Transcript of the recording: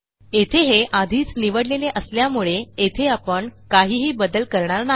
येथे हे आधीच निवडलेले असल्यामुळे येथे आपण काहीही बदल करणार नाही